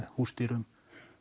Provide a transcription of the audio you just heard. húsdýrum